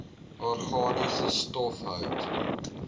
organiese stof hout